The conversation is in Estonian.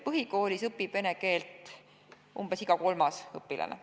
Põhikoolis õpib vene keelt umbes iga kolmas õpilane.